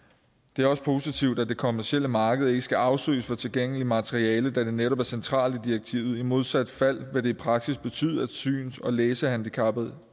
det er også positivt at det kommercielle marked ikke skal afsøges for tilgængeligt materiale hvilket netop er centralt i direktivet i modsat fald ville det i praksis betyde at syns og læsehandicappede